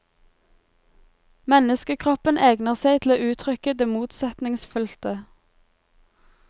Menneskekroppen egner seg til å uttrykke det motsetningsfylte.